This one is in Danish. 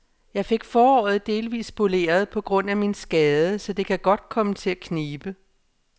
Jeg fik foråret delvis spoleret på grund af min skade, så det kan godt komme til at knibe.